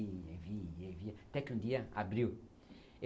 E, e, até que um dia abriu.